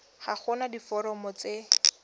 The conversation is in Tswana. ga go na diforomo tse